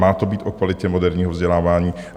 Má to být o kvalitě moderního vzdělávání.